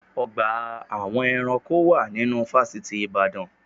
Ọgbà awọn eranko wà nínú fásitì ìbàdàn.